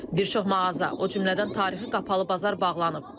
Bir çox mağaza, o cümlədən tarixi qapalı bazar bağlanıb.